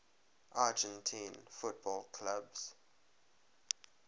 argentine football clubs